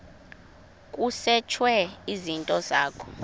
kusetshwe izinto zakho